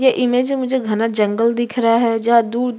ये इमेज मे मुझे घना जंगल दिख रहा है जहां दूर--